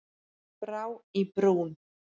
Brá í brún